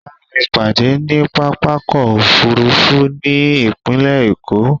Bámi pàdé ní pápákọ̀ òfurufú ti ipinlẹ̀ Èkó